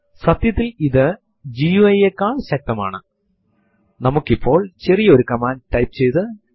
സാദൃശ്യം വരച്ചു കാട്ടാനായി നമുക്ക് പറയാം റൂട്ട് യൂസർ എന്നത് Windows ൽ അഡ്മിനിസ്ട്രേറ്റർ സ്റ്റാറ്റസ് ഉള്ള ഒരു യൂസർ നു തുല്യമാണ്